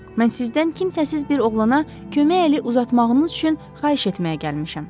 Mən sizdən kimsəsiz bir oğlana kömək əli uzatmağınız üçün xahiş etməyə gəlmişəm.